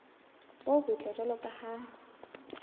bo botle jwalo ka ha